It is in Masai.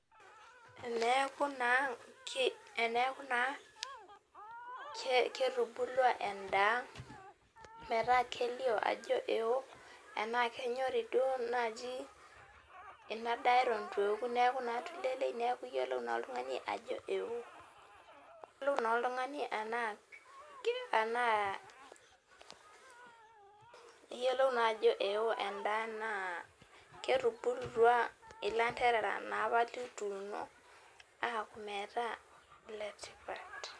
Eneaku na ketubulua endaa metaa kelio ajo eo tanaa kenyori naaji enadaa ituoku neaku na tulelei neaku yellow nelo oltungani ajo eo, keyiolou na oltungani anaa ee eo endaa ketubulutua landerera apa lituuno aku letipat